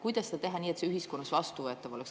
Kuidas seda teha nii, et see ühiskonnas vastuvõetav oleks?